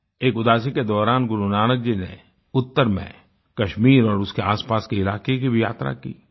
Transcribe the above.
एक उदासी के दौरान गुरुनानक जी ने उत्तर में कश्मीर और उसके आसपास के इलाके की भी यात्रा की